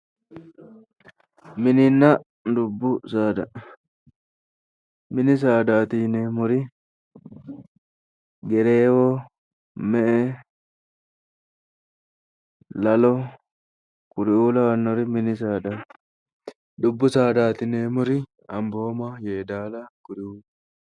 Mininna dubbu saada, mini saadaati yineemmori, gereewo, me'e, lalo kuriuu lawannori mini saadaati. dubbu saadaati yineemmori ambooma, yeedaala kuriuuti.